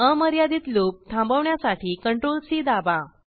अमर्यादित लूप थांबवण्यासाठी Ctrl C दाबा